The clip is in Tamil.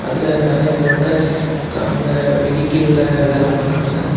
அதுல நெறய ஒர்க்கர்ஸ் அந்த வெஹிகிள்ள வேல பாக்குறாங்க.